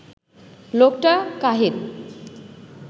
লোকটা কাহিল